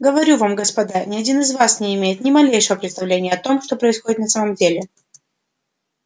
говорю вам господа ни один из вас не имеет ни малейшего представления о том что происходит на самом деле